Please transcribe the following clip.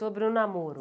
Sobre o namoro.